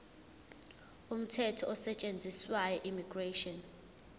umthetho osetshenziswayo immigration